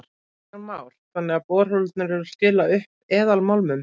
Kristján Már: Þannig að borholurnar eru að skila upp eðalmálmum?